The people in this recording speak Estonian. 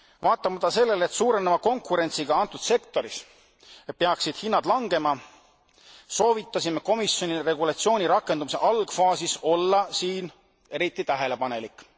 Vaatamata sellele, et suureneva konkurentsiga antud sektoris peaksid hinnad langema, soovitasime komisjonil regulatsiooni rakendamise algfaasis olla siin eriti tähelepanelik.